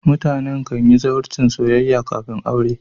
mutane kan yi zawarcin soyayya kafin aure